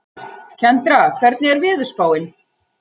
Kendra, hvernig er veðurspáin?